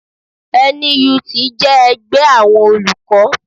NUT jẹ́ ẹgbẹ́ àwọn Olùkọ́